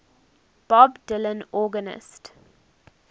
bob dylan organist